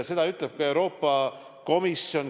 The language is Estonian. Seda ütleb ka Euroopa Komisjon.